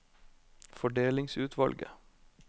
fordelingsutvalget